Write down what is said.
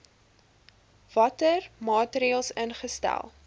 watter maatreëls ingestel